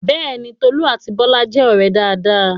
Bẹ́ẹ̀ni, Tolú àti Bọ́lá jẹ́ ọ̀rẹ́ dáadáa